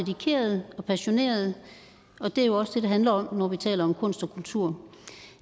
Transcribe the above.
dedikerede og passionerede og det er jo også det det handler om når vi taler om kunst og kultur